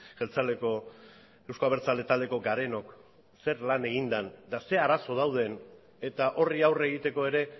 jeltzaleko euzko abertzale taldeko garenok zer lan egin den eta zer arazo dauden eta horri aurre egiteko ere